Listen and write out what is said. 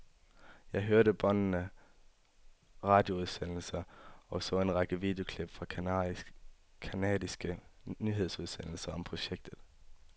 Jeg hørte båndede radioudsendelser og så en række videoklip fra canadiske nyhedsudsendelser om projektet.